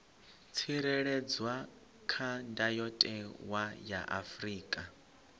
tsireledzwa kha ndayotewa ya afrika